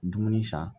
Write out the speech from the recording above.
Dumuni san